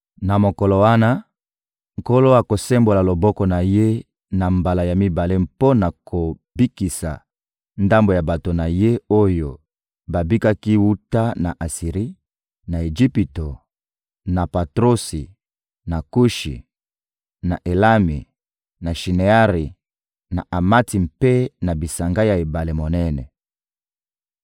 Na mokolo wana, Nkolo akosembola loboko na Ye na mbala ya mibale mpo na kobikisa ndambo ya bato na Ye oyo babikaki wuta na Asiri, na Ejipito, na Patrosi, na Kushi, na Elami, na Shineari, na Amati mpe na bisanga ya ebale monene.